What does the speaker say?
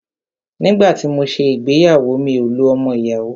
Nígbà tí mọ ṣé ìgbéyàwó, mi ò lo ọmọ ìyàwó.